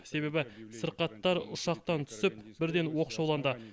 себебі сырқаттар ұшақтан түсіп бірден оқшауланды